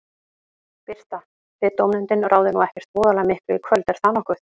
Birta: Þið dómnefndin ráðið nú ekkert voðalega miklu í kvöld, er það nokkuð?